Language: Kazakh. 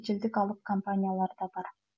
шетелдік алып компаниялар да бар